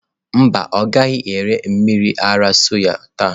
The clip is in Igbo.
Mba, ọ gaghị ere mmiri ara soya taa.